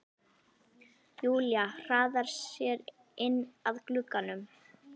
Júlía hraðar sér inn að glugganum.